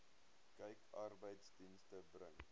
kyk arbeidsdienste bring